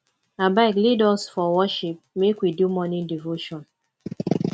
abeg lead us for worship make we do morning devotion